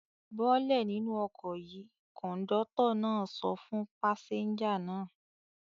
"Bọ́lẹ̀ nínú ọkọ̀ yìí!" Kọ̀ńdọ́tọ̀ náà sọ fún pásẹ́ńjà náà.